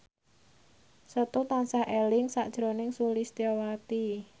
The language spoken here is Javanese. Setu tansah eling sakjroning Sulistyowati